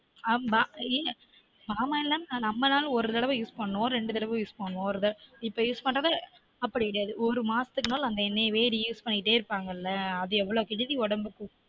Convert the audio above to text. ஆமா இல்ல நாம்மனா ஒரு தடவ use பண்ணுவொம் ரெண்டு தடவ use பண்ணுவொம் இப்ப use பண்ணத அப்டி கெடையாது ஒரு மாசத்துக்கு நாலும் அந்த எண்ணெயவே reuse பண்ணிட்டே இருப்பாங்களா அது எவ்ளொ கேடுதி உடம்புக்கு